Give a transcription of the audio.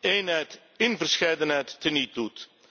eenheid in verscheidenheid teniet doet.